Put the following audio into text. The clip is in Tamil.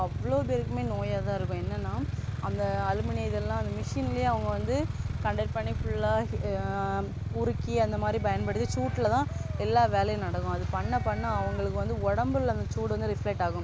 அவ்வளோ பேருக்குமே நோயாதான் இருக்கும் என்னன்னா அந்த அலுமினிய இதெல்லாம் வந்து machine லயே அவங்க வந்து contact பண்ணி full ஆ உருக்கி அந்தமாதிரி பயன்படுத்தி சூட்டுலதான் எல்லா வேலையும் நடக்கும் அது பண்ண பண்ண அவங்களுக்கு வந்து உடம்புல அந்த சூடு வந்து reflect ஆகும்